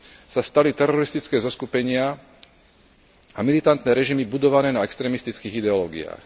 sa stali teroristické zoskupenia a militantné režimy budované na extrémistických ideológiách.